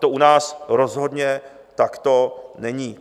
To u nás rozhodně takto není.